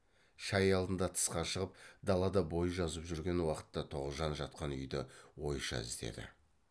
шай алдында тысқа шығып далада бой жазып жүрген уақытта тоғжан жатқан үйді ойша іздеді